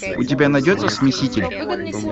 у тебя найдется смеситель